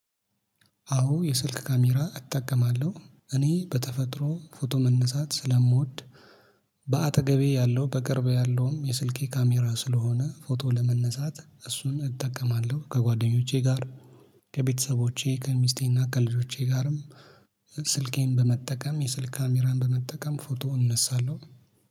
አዎ የስልክ ካሜራ እጠቀማለው እኔ በተፈጥሮ ፎቶ መነሳት ስለምወድ። በአጠገቤ ያለው በቅርቤ ያለውም የስልኬ ካሜራ ስለሆነ ፎቶ ለመነሳት እሱን እጠቀማለው ከጓደኞቼ ጋር ከቤተሰቦቼ ከሚስቴና ከልጆቼ ጋርም። ስልኬን በመጠቀም የስልክ ካሜራን በመጠቀም ፎቶ እነሳለው።